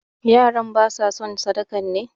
Yaran ba sa son sadakan ne?